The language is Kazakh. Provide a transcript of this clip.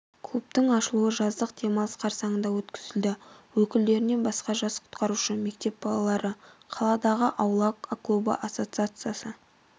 клубтың ашылуы жаздық демалыс қарсаңында өткізілді өкілдерінен басқа жас құтқарушы мектеп балалары қаладағы аула клубы ассоциациясы